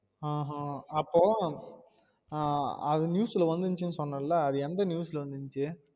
ஆஹ் ஆஹ் அப்போ ஆஹ் அது news ல வந்திச்சுன்னு சொன்னேல எந்த news ல வந்திச்ச? அஹ்